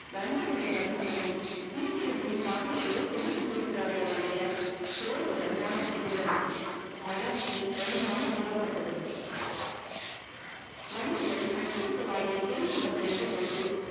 நண்பர்களை சந்தித்ததும் சிரிப்பு சிரிப்பாக சிரித்து பேசினானே ஒழிய சோர்வு நன்றாக தெரிந்தது தளர்ச்சி தெளிவாக புலப்பட்டது வண்டிகள் அச்சரத்து வாயில் திரும்பி வந்து நின்ற போது